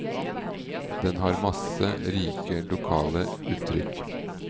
Den har masse rike, lokale uttrykk.